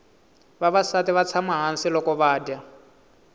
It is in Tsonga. vavasati vatsama hhasi lokuvaja